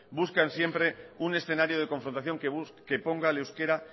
buscan siempre un escenario de confrontación que ponga al euskera